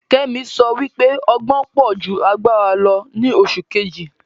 Kemi sọ wípé ọgbọn pọ̀ ju agbára lọ ni oṣù Kejì